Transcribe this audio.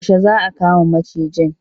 Yaushe za aka kama macijin?